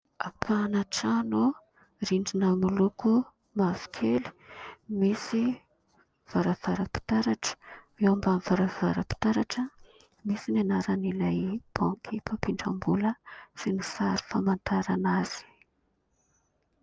Ampahana trano : rindrina miloko mavokely, misy varavaram-pitaratra. Eo ambanin'ny varavaram-pitaratra misy ny anaran'ilay banky mpampindram-bola izay sary famantarana azy.